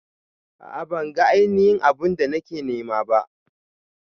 A'a ban ga ainihin abu'n da nake nema ba.